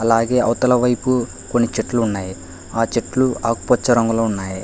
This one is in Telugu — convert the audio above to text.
అలాగే అవతలవైపు కొన్ని చెట్లు ఉన్నాయి ఆ చెట్లు ఆకుపచ్చ రంగులో ఉన్నాయి.